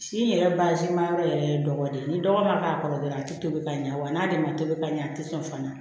Si in yɛrɛ bazi ma yɔrɔ yɛrɛ ye dɔgɔ de ye ni dɔgɔ ma k'a kɔrɔ dɔrɔn a ti tobi ka ɲa wa n'ale ma tobi ka ɲɛ a te sɔn fana